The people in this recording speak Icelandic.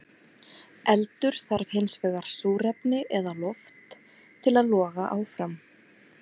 Eldur þarf hins vegar súrefni eða loft til að loga áfram.